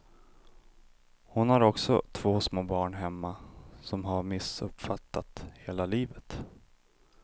Hon har också två små barn hemma som har missuppfattat hela livet.